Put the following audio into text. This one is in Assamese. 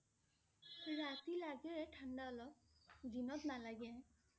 ৰাতি লগে ঠাণ্ডা অলপ, দিনত নালাগে